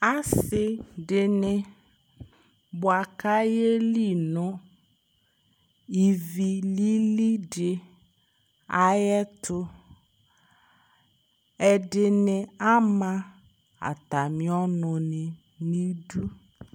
ase dini boa ko ayeli no ivi lili di ayɛto ɛdini ama atami ɔno ni no idu